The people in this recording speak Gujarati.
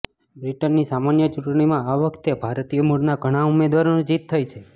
બ્રિટનની સામાન્ય ચૂંટણીમાં આ વખતે ભારતીય મૂળના ઘણાં ઉમેદવારોની જીત થઈ છે